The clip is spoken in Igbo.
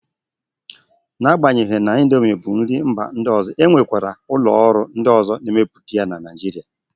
Na-agbanyeghi na indomi bụ nri mba ọzọ, e nwekwara ụlọ ọrụ ndị na-emepụta ya na Naijiria.